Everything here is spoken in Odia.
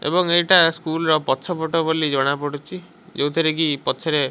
ଏବଂ ଏଇଟା ସ୍କୁଲ୍ ର ପଛ ପଟ ବୋଲି ଜଣା ପଡୁଚି ଯୋଉଥିରେ କି ପଛରେ --